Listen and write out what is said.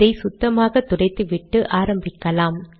இதை சுத்தமாக துடைத்துவிட்டு ஆரம்பிக்கலாம்